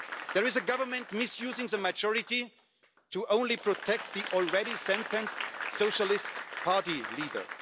There is a Government misusing a majority to protect the already sentenced Socialist Party leader.